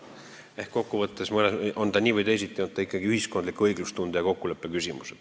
Eks see kokkuvõttes on nii või teisiti ikkagi ühiskondliku õiglustunde ja kokkuleppe küsimus.